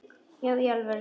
Já í alvöru, sagði hún.